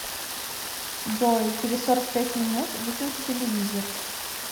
джой через сорок пять минут выключи телевизор